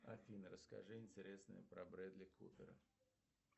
афина расскажи интересное про брэдли купера